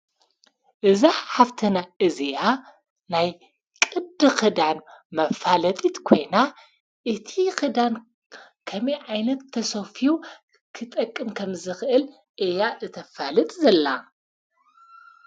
እዛኅ ሃፍተና እዚያ ናይ ቕድ ኽዳን መፋለጢት ኮይና እቲ ኽዳን ዓይነት ተሶፊው ክጠቅም ከም ዝኽእል እያ እተፋልጥ ዘላ፡፡